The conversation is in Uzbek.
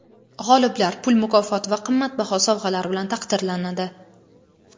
G‘oliblar pul mukofoti va qimmatbaho sovg‘alar bilan taqdirlanadi.